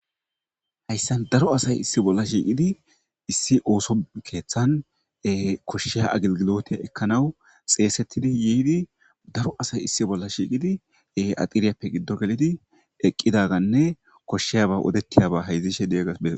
Hayssan daro asay issi bolla shiiqidi issi ooso keeththan koshsheya agilgilote ekkanawu xeesettidi yiidi daro asay issi bolla shiiqidi axiriyappe giddo gelidi eqqidaganne koshsheyaba odettiyaba haydzishe diyaga bes.